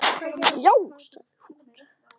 Já sagði hún.